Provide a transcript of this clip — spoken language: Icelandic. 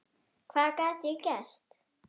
Hvað gat ég gert?